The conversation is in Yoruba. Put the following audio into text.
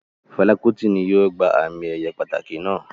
Fẹla Kuti ni yóò gba ami-eye pataki naa